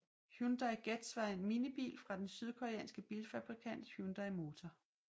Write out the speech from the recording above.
Hyundai Getz var en minibil fra den sydkoreanske bilfabrikant Hyundai Motor